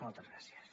moltes gràcies